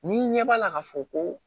Ni ɲɛ b'a la k'a fɔ ko